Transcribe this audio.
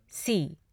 सी